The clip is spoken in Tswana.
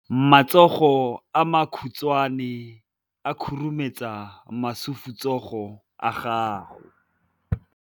Matsogo a makhutshwane a khurumetsa masufutsogo a gago.